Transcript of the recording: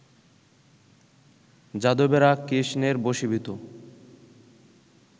যাদবেরা কৃষ্ণের বশীভূত